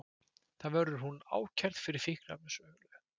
Þar verður hún ákærð fyrir fíkniefnasölu